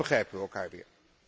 Dan begrijpen we elkaar weer.